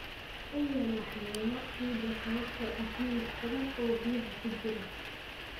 U yeel waxyeelo ciidda sababtoo ah milix badan oo biyaha ku jira.